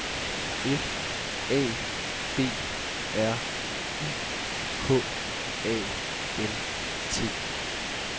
F A B R I K A N T